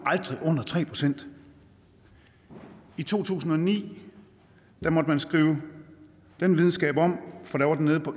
under tre procent i to tusind og ni måtte man skrive den videnskab om for da var den nede på